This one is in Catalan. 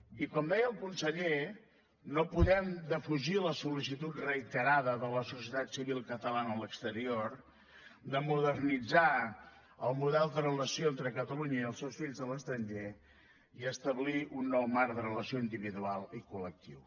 i com deia el conseller no podem defugir la sol·licitud reiterada de la societat civil catalana a l’exterior de modernitzar el model de relació entre catalunya i els seus fills a l’estranger i establir un nou marc de relació individual i col·lectiu